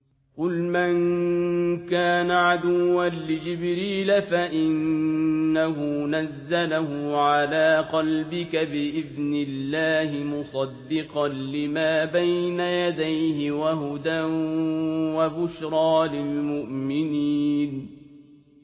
قُلْ مَن كَانَ عَدُوًّا لِّجِبْرِيلَ فَإِنَّهُ نَزَّلَهُ عَلَىٰ قَلْبِكَ بِإِذْنِ اللَّهِ مُصَدِّقًا لِّمَا بَيْنَ يَدَيْهِ وَهُدًى وَبُشْرَىٰ لِلْمُؤْمِنِينَ